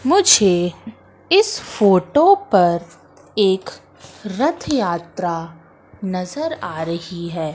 मुझे इस फोटो पर एक रथ यात्रा नजर आ रही है।